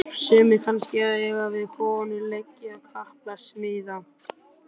Sumir kannski að eiga við konu, leggja kapal, smíða.